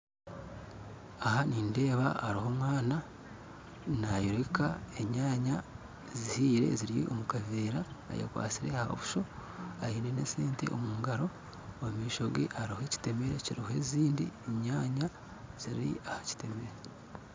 Aha nindeba hariho omwana nayoreka enyanya zihire ziri omukavera, ayekwasire ohabuso ayine nesente omungaro omumishoge hariho ekitemere kiriho ezindi enyanya ziri hakitemere